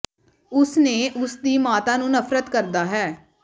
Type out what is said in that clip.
ਉਸ ਨੇ ਉਸ ਦੀ ਮਾਤਾ ਨੂੰ ਨਫ਼ਰਤ ਕਰਦਾ ਹੈ